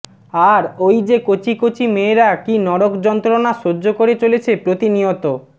আর ঐ যে কচি কচি মেয়েরা কী নরক যন্ত্রণা সহ্য করে চলেছে প্রতিনিয়ত